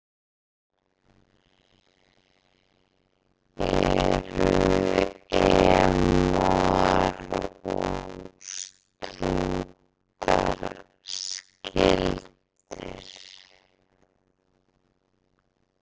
Eru emúar og strútar skyldir?